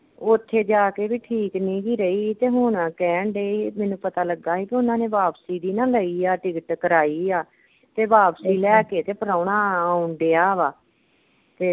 ਉਥੇ ਜਾ ਕੇ ਵੀ ਠੀਕ ਨੀ ਹੀ ਰਹੀ ਤੇ ਹੁਣ ਕਹਿਣ ਦੇ ਹੀ ਮੈਨੂੰ ਪਤਾ ਲੱਗਾ ਹੀ ਕਿ ਉਨ੍ਹਾਂ ਨੇ ਵਾਪਸੀ ਦੀ ਨਾ ਲਈ ਆ ਟਿਕਟ ਕਰਾਈ ਆ ਤੇ ਵਾਪਸੀ ਲੈ ਕੇ ਤੇ ਪ੍ਰਾਹੁਣਾ ਆਉਣ ਡੀਆ ਵਾ।